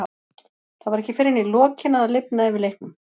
Það var ekki fyrr en í lokin að það lifnaði yfir leiknum.